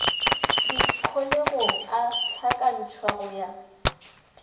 dikholegong a hlakantšhwa go ya